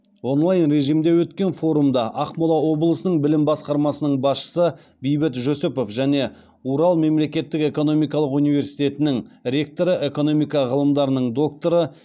онлай режимде өткен форумда ақмола облысының білім басқармасының басшысы бейбіт жүсіпов және урал мемлекеттік экономикалық университетінің ректоры экономика ғылымдарының докторы